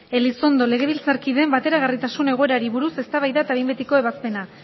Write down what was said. elizondo legebiltzarkideen bateragarritasun egoerari buruz eztabaida eta behin betiko ebazpena